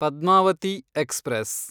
Padmavati express